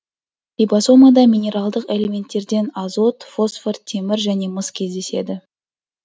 рибосомада минералдық элементтерден азот фосфор темір және мыс кездеседі